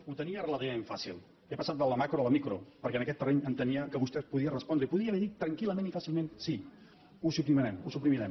ho tenia relativament fàcil he passat de la macro a la micro perquè en aquest terreny entenia que vostè podia respondre i podia haver dit tranquil·lament i fàcilment sí ho suprimirem